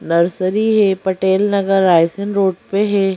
Nursery है Patel Nagar Raisen road पे है ।